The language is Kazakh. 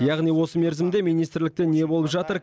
яғни осы мерзімде министрлікте не болып жатыр